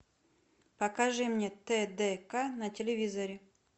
покажи мне тдк на телевизоре